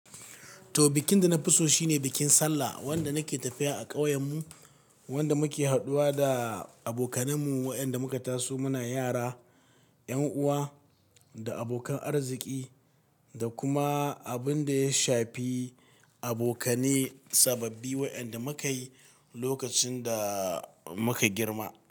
To, bikin da na fi so shine bikin Sallah, wanda nake tafiya a ƙauyenmu, wanda muke haɗuwa da abokananmu waɗanda muka taso muna yara, 'yan uwa da abokan arziki da kuma abin da ya shafi abokane sababbi waɗanda muka yi lokacin da muka girma.